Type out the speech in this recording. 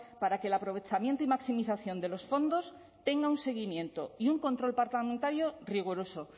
para que el aprovechamiento y maximización de los fondos tenga un seguimiento y un control parlamentario riguroso